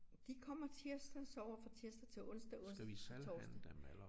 De kommer tirsdag sover fra tirsdag til onsdag onsdag til torsdag